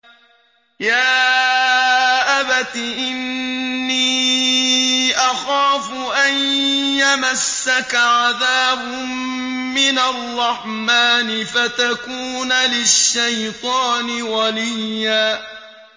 يَا أَبَتِ إِنِّي أَخَافُ أَن يَمَسَّكَ عَذَابٌ مِّنَ الرَّحْمَٰنِ فَتَكُونَ لِلشَّيْطَانِ وَلِيًّا